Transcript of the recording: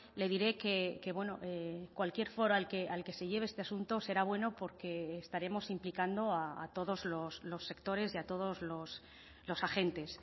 le diré que cualquier foro al que se lleve este asunto será bueno porque estaremos implicando a todos los sectores y a todos los agentes